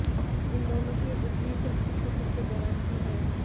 इन दोनों की यह तस्वीर फिल्म की शूटिंग के दौरान की है